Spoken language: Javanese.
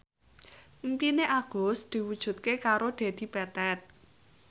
impine Agus diwujudke karo Dedi Petet